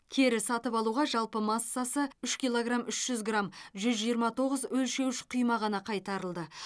кері сатып алуға жалпы массасы үш килограмм үш жүз грамм жүз жиырма тоғыз өлшеуіш құйма ғана қайтарылды